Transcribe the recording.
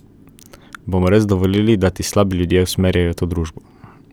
Bomo res dovolili, da ti slabi ljudje usmerjajo to družbo?